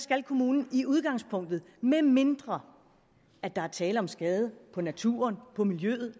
at kommunen i udgangspunktet medmindre der er tale om skade på naturen på miljøet